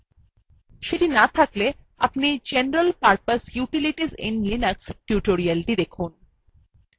সেটি না থাকলে দয়া করে general purpose utilities in linux tutorialthe দেখুন